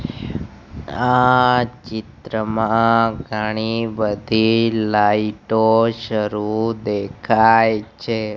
આ ચિત્રમાં ઘણી બધી લાઇટ ઓ શરૂ દેખાય છે.